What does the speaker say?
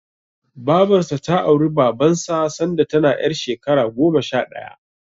Babarsa ta auri Babansa sanda tana ƴar shekara goma sha ɗaya.